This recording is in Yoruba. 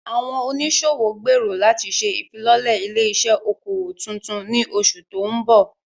Àwọn oníṣòwò gbèrò láti ṣe ìfilọ́lẹ̀ ilé-iṣẹ́ okòwò tuntun ní oṣù tó ń bọ̀.